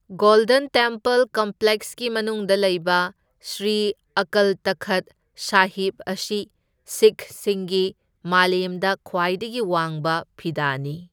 Golden temple ꯀꯝꯄ꯭ꯂꯦꯛꯁꯀꯤ ꯃꯅꯨꯡꯗ ꯂꯩꯕ ꯁ꯭ꯔꯤ ꯑꯀꯜ ꯇꯈꯠ ꯁꯥꯍꯤꯕ ꯑꯁꯤ ꯁꯤꯈꯁꯤꯡꯒꯤ ꯃꯥꯂꯦꯝꯗ ꯈ꯭ꯋꯥꯏꯗꯒꯤ ꯋꯥꯡꯕ ꯐꯤꯗꯥꯅꯤ꯫